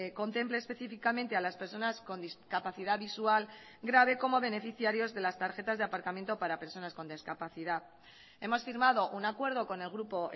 contemple específicamente a las personas con discapacidad visual grave como beneficiarios de las tarjetas de aparcamiento para personas con discapacidad hemos firmado un acuerdo con el grupo